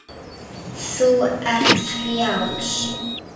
Þú ert frjáls.